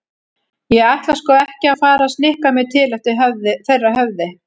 Ég ætla sko ekki að fara að snikka mig til eftir þeirra höfði.